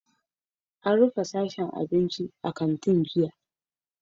An rufe sashen abinci a kantin jiya?